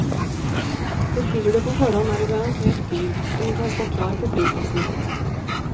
Bestiller du på forhånd, er du garantert bil, og den kan stå klar på flyplassen.